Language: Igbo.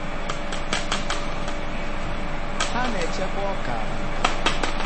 ha na-echekwa ọka na nkata.